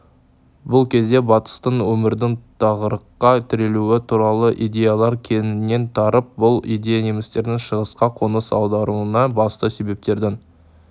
бұл кезде батыста өмірдің тығырыққа тірелуі туралы идеялар кеңінен тарап бұл идея немістердің шығысқа қоныс аударуына басты себептердің